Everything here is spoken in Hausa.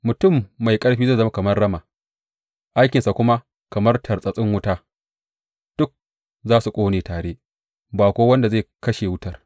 Mutum mai ƙarfi zai zama kamar rama, aikinsa kuma kamar tartsatsin wuta; duka za su ƙone tare, ba kuwa wanda zai kashe wutar.